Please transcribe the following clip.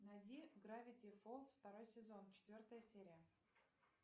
найди гравити фолз второй сезон четвертая серия